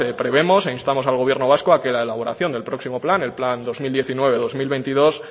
prevemos e instamos al gobierno vasco a que la elaboración del próximo plan el plan dos mil diecinueve dos mil veintidós